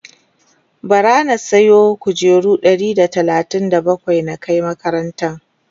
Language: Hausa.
bara na saya kujeru Ɗari da talatin da bakwai na Kai makarantan